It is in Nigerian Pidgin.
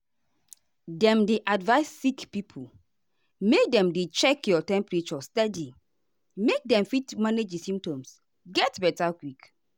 dem dey advise sick pipo make dem dey check your temperature steady make dem fit manage di symptoms get beta quick.